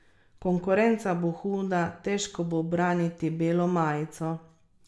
Konkurenca bo huda, težko bo braniti belo majico.